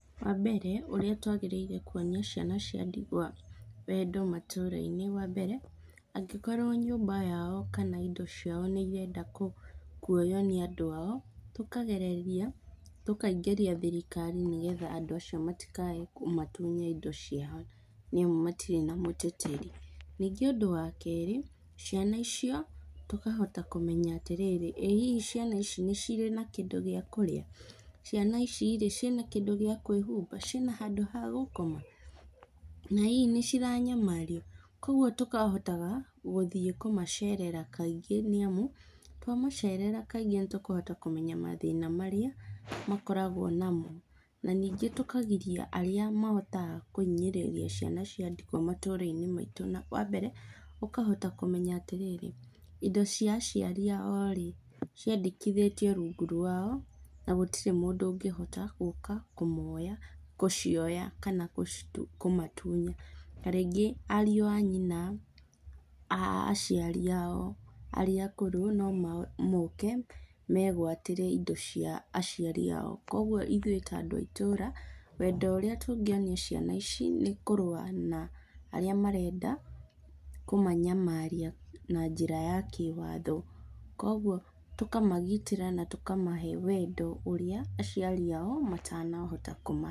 Wambere ũrĩa twagĩrĩire nĩ kuonia ciana cia ndigwa wendo matũra-inĩ, wambere, angĩkorwo nyũmba yao kana indo ciao nĩirenda kuoywo nĩ andũ ao, tũkagereria tũkaingĩria thirikari nĩgetha andũ acio matikae kũmatunya indo ciao nĩamu matirĩ na mũteteri. Ningĩ ũndũ wa kerĩ, ciana icio, tũkahota kũmenya atĩrĩri, ĩ hihi ciana ici nĩ cirĩ na kĩndũ gĩa kũrĩa? Ciana ici-rĩ, ciĩna kĩndũ gĩa kwĩhumba, ciĩna handũ ha gũkoma, ĩ hihi nĩciranyamario. Kuoguo tũkahotaga gũthiĩ kũmacerera kaingĩ nĩamu, twamacerera kaingĩ nĩtũkũhota kũmenya mathĩna marĩa makoragwo namo. Na, ningĩ tũkagiria arĩa mahotaga kũhinyĩrĩria ciana cia ndigwa matũra-inĩ maitũ na wambere, ũkahota kũmenya atĩrĩrĩ, indo cia aciari ao-rĩ, ciandĩkithĩtio rungu rwao na gũtirĩ mũndũ ũngĩhota gũka kũmoya gũcioya kana kũmatunya, ta rĩngĩ ariũ a nyina, aciari ao arĩa akũrũ no moke megwatĩre indo cia aciari ao, kuoguo ithuĩ ta andũ a itũra, wendo ũrĩa tũngĩonia ciana ici, nĩ kũrũa na arĩa marenda kũmanyamaria na njĩra ya kĩwatho, kuoguo tũkamagitĩra na tũkamahe wendo ũrĩa aciari ao matanahota kũmahe.